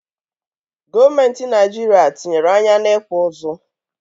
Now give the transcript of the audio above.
Gọọmentị naịjiria tinyere anya n'ịkpụ ụzụ.